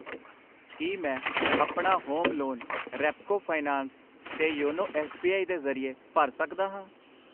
ਕਿ ਮੈਂ ਆਪਣਾ ਹੋਮ ਲੋਨ ਰੈਪਕੋ ਫਾਈਨੈਂਸ ਤੇ ਯੋਨੋ ਐਸ ਬੀ ਆਈ ਦੇ ਜਰਿਏ ਭਰ ਸਕਦਾ ਹਾਂ ?